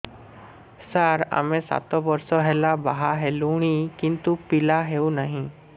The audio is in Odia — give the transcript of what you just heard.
ସାର ଆମେ ସାତ ବର୍ଷ ହେଲା ବାହା ହେଲୁଣି କିନ୍ତୁ ପିଲା ହେଉନାହିଁ